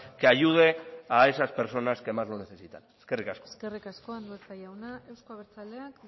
que ayude a esas personas que más lo necesitan eskerrik asko eskerrik asko andueza jauna euzko abertzaleak